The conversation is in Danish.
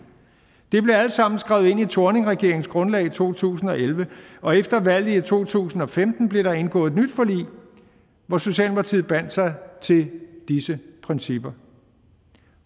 det blev alt sammen skrevet ind i thorningregeringens grundlag i to tusind og elleve og efter valget i to tusind og femten blev der indgået et nyt forlig hvor socialdemokratiet bandt sig til disse principper